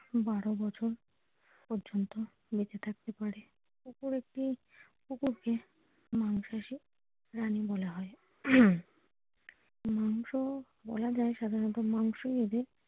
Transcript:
বারো বছর পর্যন্ত বেঁচে থাকতে পারে কুকুরকে মাংসাশী প্রাণী বলা হয় হম মাংস বলা যায় সাধারণত মাংস এদের।